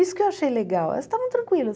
Isso que eu achei legal, elas estavam tranquilas.